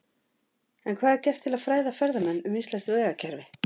En hvað er gert til að fræða ferðamenn um íslenskt vegakerfi?